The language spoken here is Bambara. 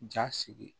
Ja sigi